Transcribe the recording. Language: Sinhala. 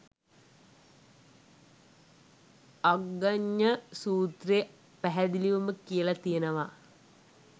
අග්ගඤ්ඤ සූත්‍රෙ පැහැදිලිවම කියල තියෙනව